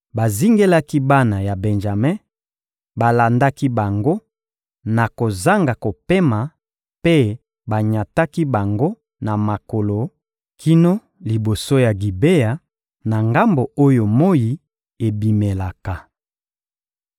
Bazingelaki bana ya Benjame, balandaki bango na kozanga kopema mpe banyataki bango na makolo kino liboso ya Gibea, na ngambo oyo moyi ebimelaka.